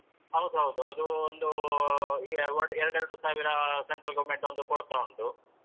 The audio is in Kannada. ಹೌದೌದು ಅದು ಒಂದೂ ಎರಡು ಎರಡು ಸಾವಿರ Central government ಒಂದು ಕೊಡ್ತಾ ಉಂಟು.